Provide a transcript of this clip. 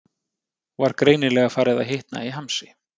Var greinilega farið að hitna í hamsi.